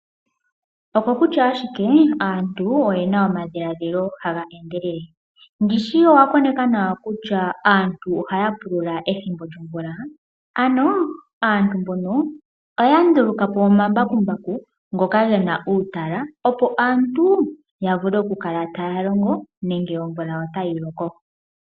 Oko kutya ashike aantu oye na omadhiladhilo haga endelele. Ndishi owa koneka nawa kutya aantu oha ya pulula ethimbo lyomvula? Ano aantu mbono oya nduluka po omambakumbaku ngoka ge na uutala opo aantu ya vule oku kala taya longo nenge omvula otayi loko.